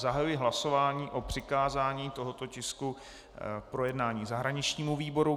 Zahajuji hlasování o přikázání tohoto tisku k projednání zahraničnímu výboru.